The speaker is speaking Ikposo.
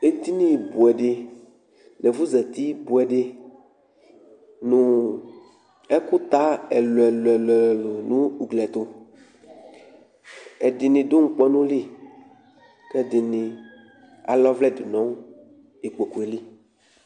Edinibʋɛ dɩ nʋ ɛfʋzǝtibʋɛ dɩ, nʋ ɛkʋta ɛlʋɛlʋ ɛlʋɛlʋ ni nʋ ugli ɛtʋ Ɛdɩnɩ du ŋkpɔnʋ li Kʋ ala ɔvlɛdʋ nʋ ikpoku yɛ li